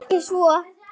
Nei, ekki svo